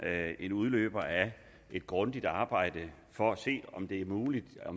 er en udløber af et grundigt arbejde for at se om det er muligt at